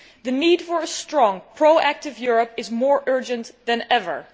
The need for a strong, proactive Europe is more urgent than ever.